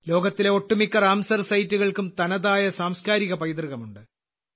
ലോകത്തിലെ ഒട്ടുമിക്ക റാംസർ സൈറ്റുകൾക്കും തനതായ സാംസ്കാരിക പൈതൃകമുണ്ട്